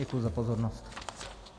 Děkuji za pozornost.